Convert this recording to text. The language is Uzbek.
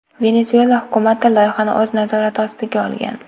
Venesuela hukumati loyihani o‘z nazorati ostiga olgan.